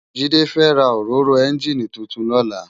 Jide fè rá óróró ènjiní tútún lòlá